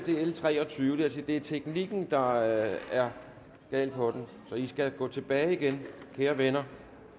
er l treogtyvende det vil er teknikken der er galt på den så i skal gå tilbage igen kære venner